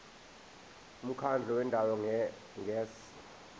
umkhandlu wendawo ngerss